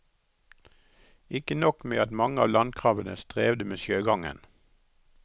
Ikke nok med at mange av landkrabbene strevde med sjøgangen.